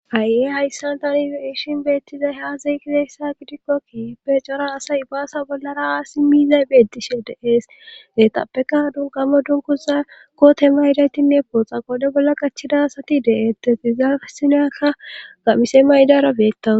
Ha7ie hayssan tani iishin beettizay haasay kizeessa gidikkokki peecora asay ibaasa bollara aasi miizay beettishe de7ees nexapeka dunkamo dunkuza kotema hidaytinne pooxa qode bolla qachida asati de'ettetizaasinakka gammise maydara beettawo